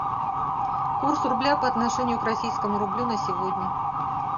курс рубля по отношению к российскому рублю на сегодня